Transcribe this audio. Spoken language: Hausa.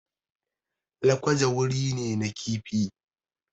Lakwaja gari ne na kifi